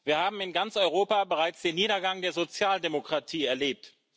Wir haben in ganz Europa bereits den Niedergang der Sozialdemokratie erlebt.